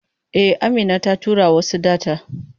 E, Amina ta tura wasu data.